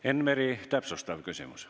Enn Meri, täpsustav küsimus.